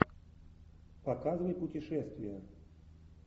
показывай путешествия